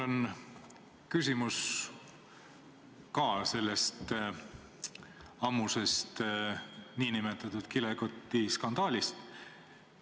Mul on küsimus ka selle ammuse nn kilekotiskandaali kohta.